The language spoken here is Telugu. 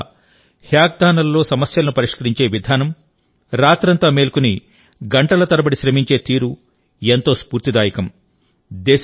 మన యువత హ్యాకథాన్లలో సమస్యలను పరిష్కరించే విధానం రాత్రంతా మేల్కొని గంటల తరబడి శ్రమించే తీరు ఎంతో స్ఫూర్తిదాయకం